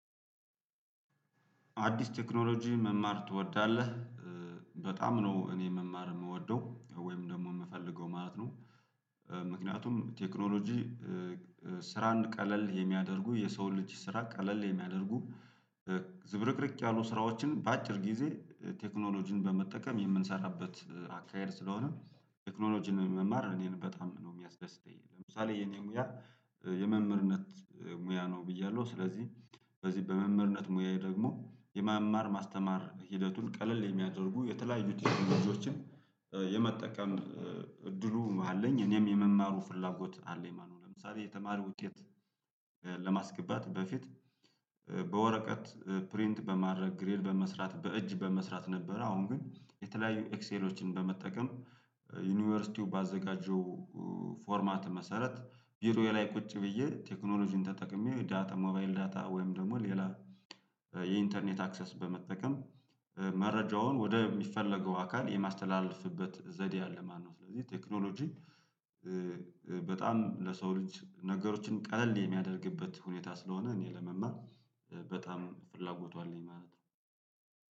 አዲስ ቴክኖሎጂ መማር ትወዳለህ? በጣም ነው እኔ መማር የምወደው ወይም ደግሞ የምፈልገው ማለት ነው። ምክንያቱም ቴክኖሎጂ ስራን ቀለል የሚያደርጉ የሰውን ልጅ ስራ ቀለል የሚያደርጉ ዝብርቅርቅ ያሉ ስራዎችን በአጭር ጊዜ ቴክኖሎጂን በመጠቀም የምንሰራበት አካሄድ ስለሆነ ቴክኖሎጂን መማር እኔን በጣም ነው የሚያስደስተኝ። ለምሳሌ የኔ ሙያ የመምህርነት ሙያ ነው ብያለሁ ስለዚህ በዚህ በመምህርነት ሙያዬ ደግሞ የማማር ማስተማር ሂደቱን ቀለል የሚያደርጉ የተለያዩት የትምህርቶችን የመጠቀም እድሉ መሃል አለኝ። እኔም የመማሩ ፍላጎት አለኝ። ማነው ለምሳሌ የተማሪ ውጤት ለማስገባት በፊት በወረቀት ፕሪንት በማድረግ ግሬል በመስራት በእጅ በመስራት ነበረ። አሁን ግን የተለያዩ ኤክሴሎችን በመጠቀም። ዩኒቨርሲቲው ባዘጋጀው ፎርማት መሰረት ቢሮ ላይ ቁጭ ብዬ ቴክኖሎጂን ተጠቅሜ ዳታ ሞባይል ዳታ ወይም ደግሞ ሌላ የኢንተርኔት አክሰስ በመጠቀም መረጃውን ወደ የሚፈለገው አካል የማስተላለፍበት ዘዴ አለ። ማነው ስለዚህ ቴክኖሎጂ በጣም ለሰው ልጅ ነገሮችን ቀለል የሚያደርግበት ሁኔታ ስለሆነ እኔ ለመማር በጣም ፍላጎቷ አለኝ ማለት ነው